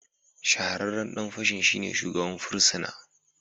Shahararren dan fashin shine shugaban fursuna